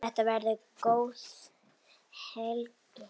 Þetta verður góð helgi.